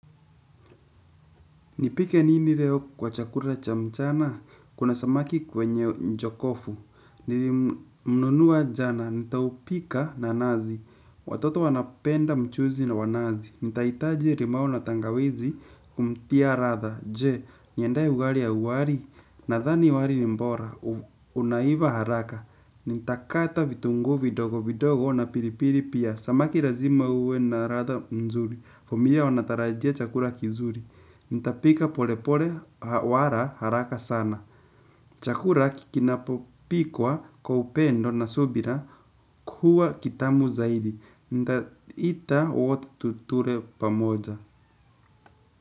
Nipike nini leo kwa chakula cha mchana? Kuna samaki kwenye njokofu. Nini mnunuwa jana. Nitaupika na nazi. Watoto wanapenda mchuzi na wanazi. Nitahitaji limau na tangawizi kumtia ladha. Je, niendee ugali ya uwari. Nathani wali ni bora. Unaiva haraka. Nitakata vitunguu vidogo vidogo na pilipili pia. Samaki lazima uwe na ladha mzuri. Familia wanatarajia chakula kizuri. Ntapika pole pole wala haraka sana. Chakula kinapopikwa kwa upendo na subira huwa kitamu zaidi. Nitaita wote tule pamoja.